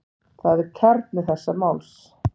Það er kjarni þessa máls.